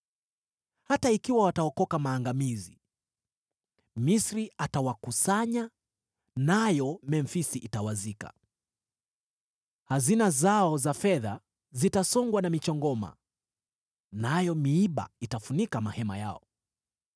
Hata ikiwa wataokoka maangamizi, Misri atawakusanya, nayo Memfisi itawazika. Hazina zao za fedha zitasongwa na michongoma, nayo miiba itafunika mahema yao.